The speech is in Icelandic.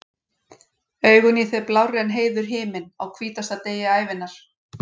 Augun í þér blárri en heiður himinn, á hvítasta degi ævinnar.